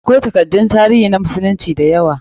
Akwai takaddun tarihi na musulunci da yawa.